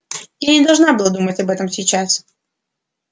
я не должна думать об этом сейчас